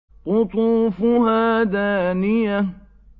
قُطُوفُهَا دَانِيَةٌ